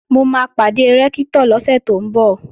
Mo máa pàdé Rẹ́ktọ̀ lọ́sẹ̀ tó ń bọ̀